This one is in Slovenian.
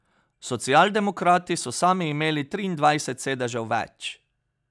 Socialdemokrati so sami imeli triindvajset sedežev več!